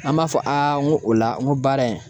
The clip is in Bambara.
An b'a fɔ ŋo o la ŋo baara in